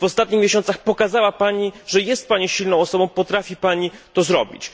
W ostatnich miesiącach pokazała Pani, że jest Pani silną osobą, potrafi Pani to zrobić.